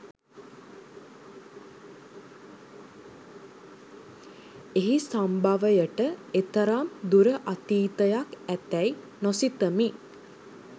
එහි සම්භවයට එතරම් දුර අතීතයක් ඇතැයි නොසිතමි